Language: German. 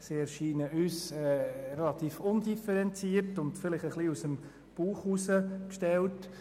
Sie erscheinen uns ziemlich undifferenziert und ein wenig aus dem Bauch heraus gestellt.